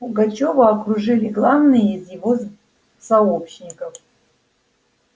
пугачёва окружили главные из его сообщников